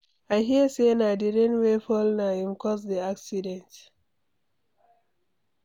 I hear say na the rain wey fall na im cause the accident.